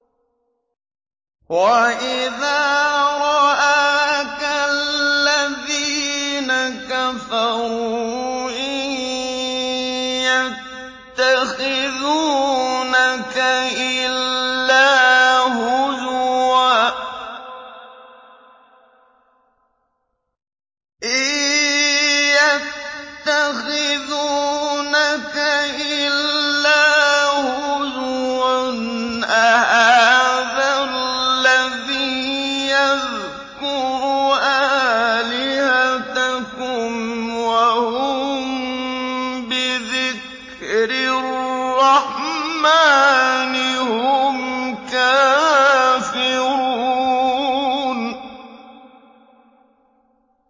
وَإِذَا رَآكَ الَّذِينَ كَفَرُوا إِن يَتَّخِذُونَكَ إِلَّا هُزُوًا أَهَٰذَا الَّذِي يَذْكُرُ آلِهَتَكُمْ وَهُم بِذِكْرِ الرَّحْمَٰنِ هُمْ كَافِرُونَ